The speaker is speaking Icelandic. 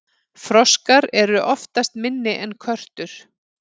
froskar eru oftast minni en körtur